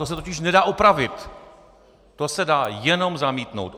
To se totiž nedá opravit, to se dá jenom zamítnout.